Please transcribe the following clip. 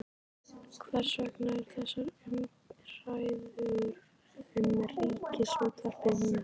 Hvers vegna eru þessar umræður um Ríkisútvarpið núna?